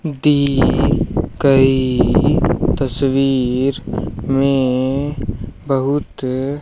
दी गई तस्वीर में बहुत --